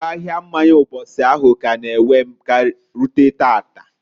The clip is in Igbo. Iwe ahia mmanya mbosi ahụ k'a na- ewe rute taata.